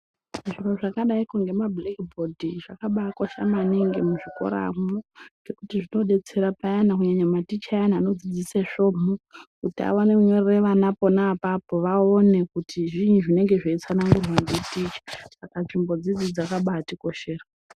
Zviro zvakadaiko ngemabhulekibhodhi zvakabaakosha maningi muzvikoramwo, ngekuti zvinodetsera payana munhu kunyanya maticha ayana anodzidzise svomhu, kuti awane kinyorere vana pona apapo vaone kuti zviini zvinenge zveitsanangurwa nditicha. Saka nzvimbodzi dzakabaatikoshera.